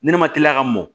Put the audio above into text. Ne ne ma teliya ka mɔ